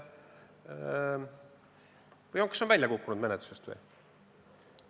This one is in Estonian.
Või kas on menetlusest välja kukkunud?